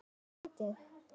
Um mótið